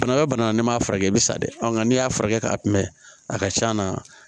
Banabaa bana n'i m'a furakɛ i bɛ sa de ɔn n'i y'a furakɛ ka kunbɛn a ka ca na